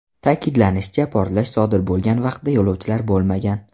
Ta’kidlanishicha, portlash sodir bo‘lgan vaqtda yo‘lovchilar bo‘lmagan.